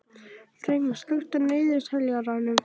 Freymar, slökktu á niðurteljaranum.